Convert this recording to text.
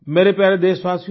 मेरे प्यारे देशवासियो